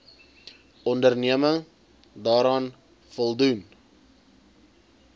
onderneming daaraan voldoen